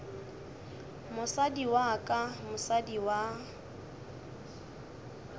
mosadi wa ka mosadi wa